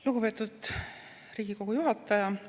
Lugupeetud Riigikogu juhataja!